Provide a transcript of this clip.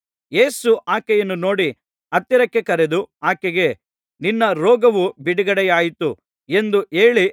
ಯೇಸು ಆಕೆಯನ್ನು ನೋಡಿ ಹತ್ತಿರಕ್ಕೆ ಕರೆದು ಆಕೆಗೆ ನಿನ್ನ ರೋಗವು ಬಿಡುಗಡೆಯಾಯಿತು ಎಂದು ಹೇಳಿ